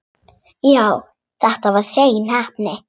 Já, þetta var hrein heppni.